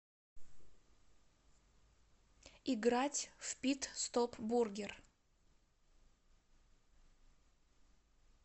играть в пит стоп бургер